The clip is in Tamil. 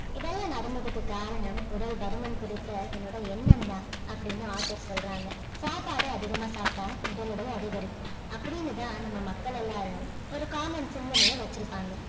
இதெல்லாம் நடந்ததுக்கு காரணம் உடல் பருமன் குறித்த என்னுடைய எண்ணம் தான் அப்படின்னு author சொல்றாங்க சாப்பாடு அதிகமா சாப்பிட்டா உடல் எடை அதிகரிக்கும் அப்படின்னு தான் நம்ம மக்கள் எல்லாரும் ஒரு common சிந்தனையை வச்சிருப்பாங்க